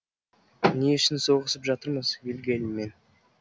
не үшін соғысып жатырмыз вильгельммен